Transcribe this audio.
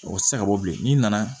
O tɛ se ka bɔ bilen n'i nana